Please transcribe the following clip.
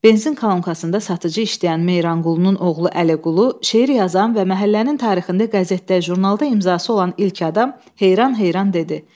Benzin kalonkasında satıcı işləyən Meyranqulunun oğlu Əliqulu, şeir yazan və məhəllənin tarixində qəzetdə, jurnalda imzası olan ilk adam heyran-heyran dedi: